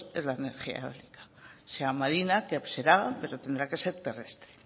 es la energía eólica sea marina que será pero tendrá que ser terrestre